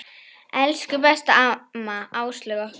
Elsku besta amma Áslaug okkar.